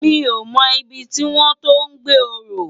Mi ó mò ibi tiwòn to gbé òrò